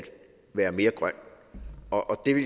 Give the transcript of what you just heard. være mere grøn og